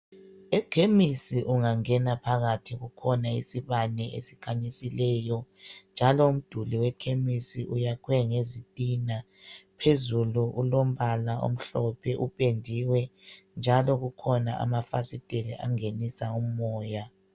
Ekhemisi ungangena phakathi kukhona isibane esikhanyisileyo. Njalo umduli wekhemisi uyakhwe ngezitina. Phezulu kulombala omhlophe upendiwe, njalo kukhona amafasiteli angenisa umoya.